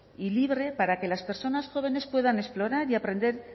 y libre para que las personas jóvenes puedan explorar y aprender